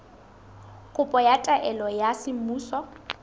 kopo ya taelo ya semmuso